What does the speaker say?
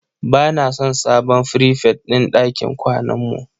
Ba na son sabon frifet din ɗakin kwanan mu